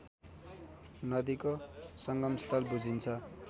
नदीको संगमस्थल बुझिन्छ